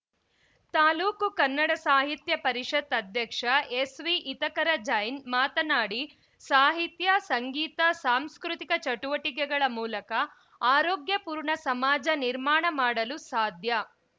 ತಾಲೂಕು ಕನ್ನಡ ಸಾಹಿತ್ಯ ಪರಿಷತ್‌ ಅಧ್ಯಕ್ಷ ಎಸ್‌ವಿ ಹಿತಕರ ಜೈನ್‌ ಮಾತನಾಡಿ ಸಾಹಿತ್ಯ ಸಂಗೀತ ಸಾಂಸ್ಕೃತಿಕ ಚಟುವಟಿಕೆಗಳ ಮೂಲಕ ಆರೋಗ್ಯಪೂರ್ಣ ಸಮಾಜ ನಿರ್ಮಾಣ ಮಾಡಲು ಸಾಧ್ಯ